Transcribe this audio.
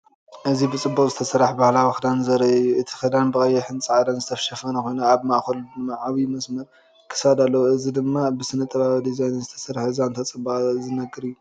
እዚ ብጽቡቕ ዝተሰርሐ ባህላዊ ክዳን ዘርኢ እዩ። እቲ ክዳን ብቐይሕን ጻዕዳን ዝተሸፈነ ኮይኑ፡ ኣብ ማእከሉ ዓቢ መስመር ክሳድ ኣለዎ። እዚ ድማ ብስነ-ጥበባዊ ዲዛይን ዝተሰርሐ ዛንታ ጽባቐ ዝነግር እዩ።